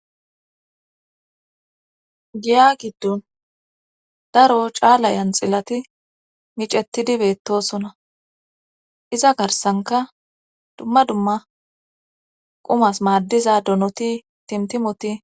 giya giddon daro caala janxilati micettidi beettosona iza garsanka dumma dumma qumas maaddiza donoti timtimoti